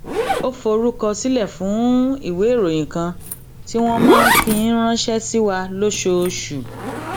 ó forúkọ sílè fún ìwé ìròyìn kan tí wón máa ń fi ránṣé sí wa lóṣooṣù